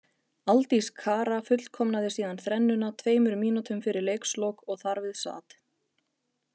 Aldís Kara fullkomnaði síðan þrennuna tveimur mínútum fyrir leikslok og þar við sat.